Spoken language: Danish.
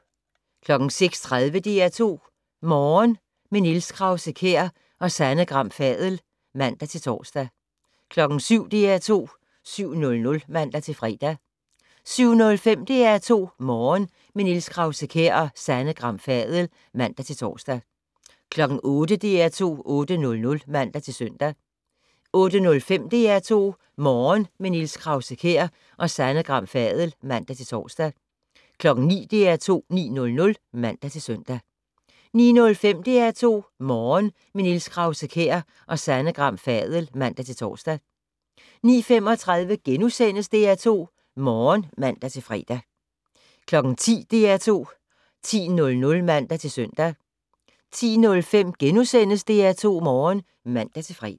06:30: DR2 Morgen - med Niels Krause-Kjær og Sanne Gram Fadel (man-tor) 07:00: DR2 7:00 (man-fre) 07:05: DR2 Morgen - med Niels Krause-Kjær og Sanne Gram Fadel (man-tor) 08:00: DR2 8:00 (man-søn) 08:05: DR2 Morgen - med Niels Krause-Kjær og Sanne Gram Fadel (man-tor) 09:00: DR2 9:00 (man-søn) 09:05: DR2 Morgen - med Niels Krause-Kjær og Sanne Gram Fadel (man-tor) 09:35: DR2 Morgen *(man-fre) 10:00: DR2 10:00 (man-søn) 10:05: DR2 Morgen *(man-fre)